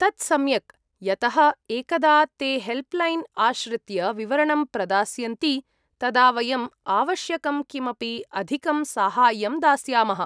तत् सम्यक्। यतः एकदा ते हेल्प्लैन् आश्रित्य विवरणं प्रदास्यन्ति तदा वयम् आवश्यकं किमपि अधिकं साहाय्यं दास्यामः।